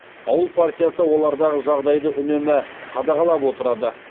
ауыл партиясы олардағы жағдайды үнемі қадағалап отырады